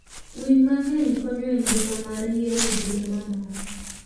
Winy mangeny konyo e ngima mar yien gi lee mamoko